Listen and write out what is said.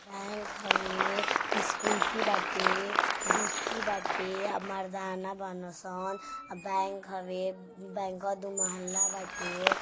Bank होवे इस scooty बाटे बीकी बाटे अ मर्दाना बानसन बैंक होवे अ बैंकवा दो महल्ला बाटे।